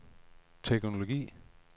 teknologi